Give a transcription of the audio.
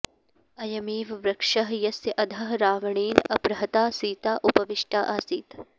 अयमेव वृक्षः यस्य अधः रावणेन अपहृता सीता उपविष्टा आसीत्